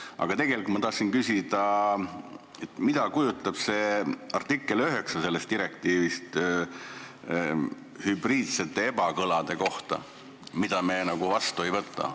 Aga tegelikult tahtsin küsida, mida kujutab endast selle direktiivi artikkel 9 hübriidsete ebakõlade kohta, mida me üle ei võta.